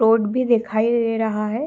Road भी दिखाई दे रहा है।